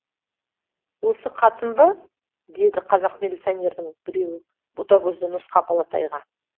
осы қатын ба деді қазақ милиционердің біреуі ботагөзді нұсқап алатайға